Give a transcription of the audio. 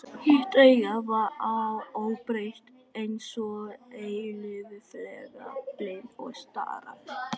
Hitt augað var óbreytt einsog eilíflega, blint og starandi.